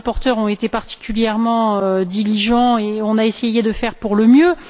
Les rapporteurs ont été particulièrement diligents et on a essayé de faire pour le mieux.